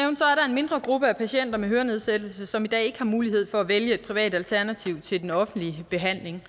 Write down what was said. mindre gruppe af patienter med hørenedsættelse som i dag ikke har mulighed for at vælge et privat alternativ til den offentlige behandling